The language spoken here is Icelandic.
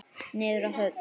Niður að höfn.